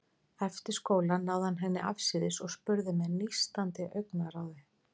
Eftir skóla náði hann henni afsíðis og spurði með nístandi augnaráði